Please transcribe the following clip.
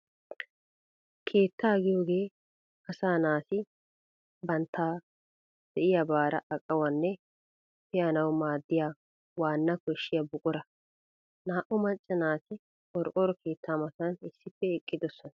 Keettaa giyoogee asaa naati banttawu de'iyaabaara aqanawunne pe'anawu maadiyaa waana koshshyaa buqura. Naa"u macca naati qorqoro keetta matan issippe eqqidosona.